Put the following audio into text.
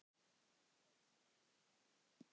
En hvort bætti annað upp.